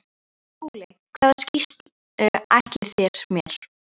SKÚLI: Hvaða sýslu ætlið þér mér?